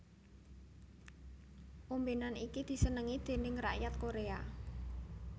Ombenan iki disenengi déning rakyat Korea